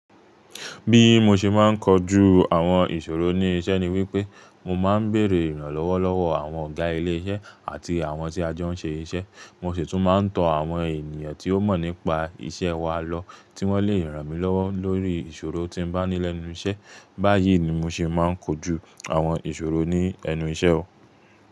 Bí mo ṣe máa ń kojú àwọn ìṣòro ní iṣẹ́ ni wípé mo máa ń bèrè ìrànlọ́wọ́ lọ́wọ́ àwọn ọ̀gá ilé iṣẹ́ àti àwọn tí a jo ń ṣe iṣẹ́. Mo sì tún máa ń tọ àwọn ènìyàn tí ó mọ̀ nípa iṣẹ́ wa lọ tí wọ́n lè ràn mí lọ́wọ́ lórí ìṣòro tí bá ní lẹ́nu iṣẹ́. Báyìí ni mo ṣe máa ń kojú àwọn ìṣòro ní ẹnu iṣẹ́ o.